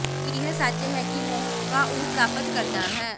ਇਹ ਸੱਚ ਹੈ ਕਿ ਮੌਕਾ ਉਹ ਪ੍ਰਾਪਤ ਕਰਦਾ ਹੈ